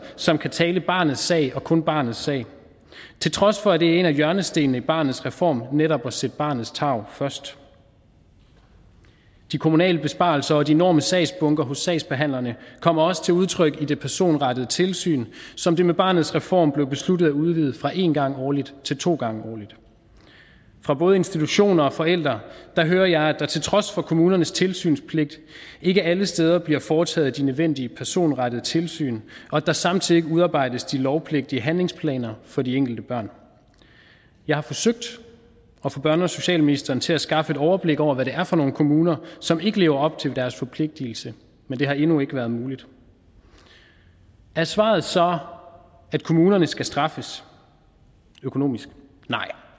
som kan tale barnets sag og kun barnets sag til trods for at det er en af hjørnestenene i barnets reform netop at sætte barnets tarv først de kommunale besparelser og de enorme sagsbunker hos sagsbehandlerne kommer også til udtryk i det personrettede tilsyn som det med barnets reform blev besluttet at udvide fra én gang årligt til to gange årligt fra både institutioner og forældre hører jeg at der til trods for kommunernes tilsynspligt ikke alle steder bliver foretaget de nødvendige personrettede tilsyn og at der samtidig ikke udarbejdes de lovpligtige handlingsplaner for de enkelte børn jeg har forsøgt at få børne og socialministeren til at skaffe et overblik over hvad det er for nogle kommuner som ikke lever op til deres forpligtelser men det har endnu ikke været muligt er svaret så at kommunerne skal straffes økonomisk nej